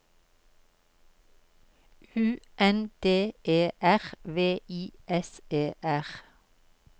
U N D E R V I S E R